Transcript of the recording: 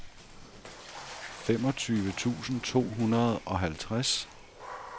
femogtyve tusind to hundrede og halvtreds